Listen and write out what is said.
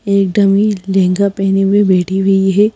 एक डमी लहंगा पहने हुए बैठी हुई है।